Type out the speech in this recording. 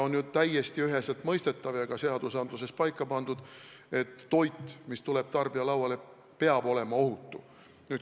On ju täiesti üheselt mõistetav ja ka seadustes paika pandud, et toit, mis tuleb tarbija lauale, peab olema ohutu.